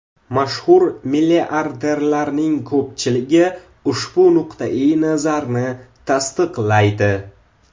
Mashhur milliarderlarning ko‘pchiligi ushbu nuqtai nazarni tasdiqlaydi.